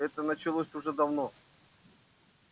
это началось уже давно